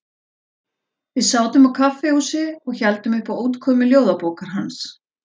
Við sátum á kaffihúsi og héldum upp á útkomu ljóðabókar hans.